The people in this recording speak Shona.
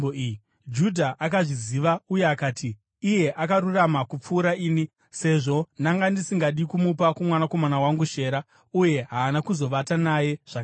Judha akazviziva uye akati, “Iye akarurama kupfuura ini, sezvo ndanga ndisingadi kumupa kumwanakomana wangu Shera.” Uye haana kuzovata naye zvakare.